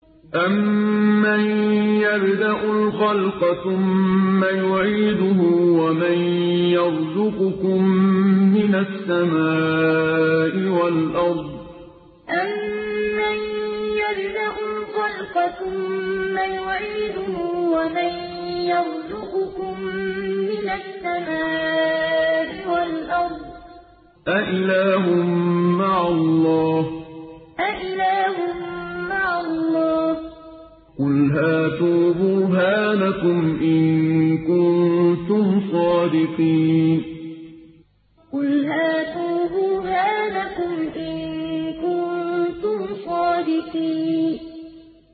أَمَّن يَبْدَأُ الْخَلْقَ ثُمَّ يُعِيدُهُ وَمَن يَرْزُقُكُم مِّنَ السَّمَاءِ وَالْأَرْضِ ۗ أَإِلَٰهٌ مَّعَ اللَّهِ ۚ قُلْ هَاتُوا بُرْهَانَكُمْ إِن كُنتُمْ صَادِقِينَ أَمَّن يَبْدَأُ الْخَلْقَ ثُمَّ يُعِيدُهُ وَمَن يَرْزُقُكُم مِّنَ السَّمَاءِ وَالْأَرْضِ ۗ أَإِلَٰهٌ مَّعَ اللَّهِ ۚ قُلْ هَاتُوا بُرْهَانَكُمْ إِن كُنتُمْ صَادِقِينَ